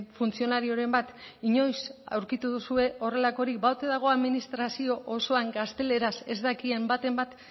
funtzionarioren bat inoiz aurkitu duzue horrelakorik ba ote dago administrazio osoan gazteleraz ez dakien baten bat